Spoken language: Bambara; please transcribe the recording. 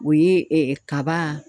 O ye ɛ ɛ kaba